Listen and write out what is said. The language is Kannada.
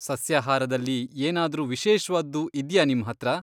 ಸಸ್ಯಾಹಾರದಲ್ಲಿ ಏನಾದ್ರೂ ವಿಶೇಷ್ವಾದ್ದು ಇದ್ಯಾ ನಿಮ್ಹತ್ರ?